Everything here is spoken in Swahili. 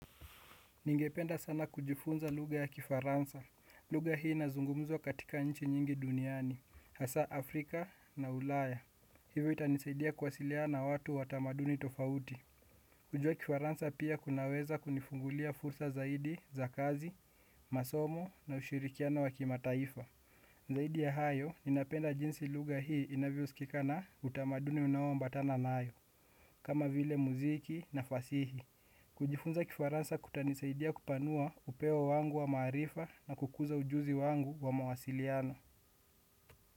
Ningependa sana kujifunza lugha ya kifaransa. Lugha hii inazungumzwa katika nchi nyingi duniani, hasa Afrika na Ulaya. Hivyo itanisaidia kuwasiliana na watu wa tamaduni tofauti. Kujua kifaransa pia kunaweza kunifungulia fursa zaidi za kazi, masomo na ushirikiano wa kimataifa. Zaidi ya hayo, ninapenda jinsi lugha hii inavyosikika na utamaduni unaoambatana nayo. Kama vile muziki na fasihi kujifunza kifaransa kutanisaidia kupanua upeo wangu wa maarifa na kukuza ujuzi wangu wa mawasiliano.